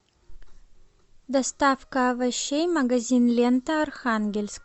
доставка овощей магазин лента архангельск